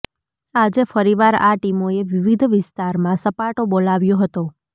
આજે ફરીવાર આ ટીમોએ વિવિધ વિસ્તારમાં સપાટો બોલાવ્યો હતો